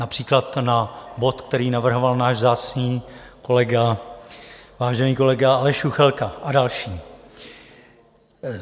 Například na bod, který navrhoval náš vzácný kolega, vážený kolega Aleš Juchelka, a další.